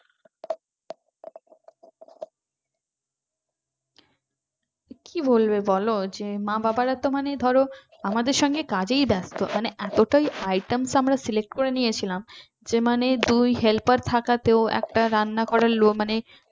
কি বলবে বলো যে মা-বাবারা তো মানে ধরো আমাদের সঙ্গে কাজেই ব্যস্ত মানে এতটাই items আমরা select করে নিয়েছিলাম যে মানে দুই helper থাকাতেও একটা রান্না ঘরের লোক মানে